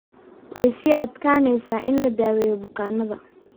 Way sii adkaanaysaa in la daweeyo bukaannada.